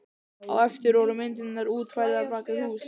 Á eftir voru myndirnar útfærðar bak við hús.